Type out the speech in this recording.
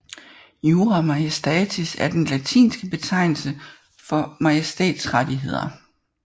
Jura Majestatis er den latinske betegnelse for majestætrettigheder